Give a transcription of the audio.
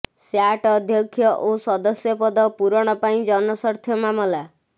SAT ଅଧ୍ୟକ୍ଷ ଓ ସଦସ୍ୟ ପଦ ପୂରଣ ପାଇଁ ଜନସ୍ୱାର୍ଥ ମାମଲା